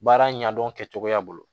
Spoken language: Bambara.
Baara ɲɛdɔn kɛcogoya bolo